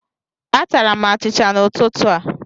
Atara m achịcha n'ụtụtụ a.